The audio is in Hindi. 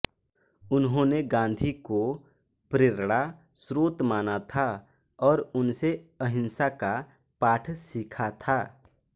उन्होंने गांधी को प्रेरणा स्रोत माना था और उनसे अहिंसा का पाठ सीखा था